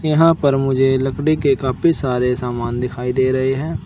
यहां पर मुझे लकड़ी के काफी सारे सामान दिखाई दे रहे हैं।